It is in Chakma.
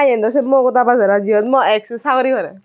eyan se mogoda majaran jeyot mo ex cho saguri gorer.